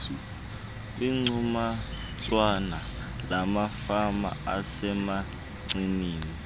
kwigcuntswana lamafama asemancinci